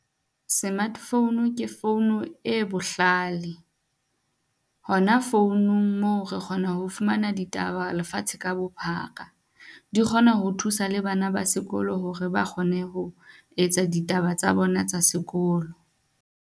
Smartphone ke founu e bohlale. Hona founong moo re kgona ho fumana ditaba lefatshe ka bophara, di kgona ho thusa le bana ba sekolo hore ba kgone ho etsa ditaba tsa bona tsa sekolo.